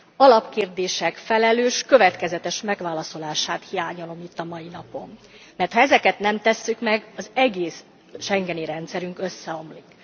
Alapkérdések felelős, következetes megválaszolását hiányolom itt a mai napon, mert ha ezeket nem tesszük meg az egész schengeni rendszerünk összeomlik.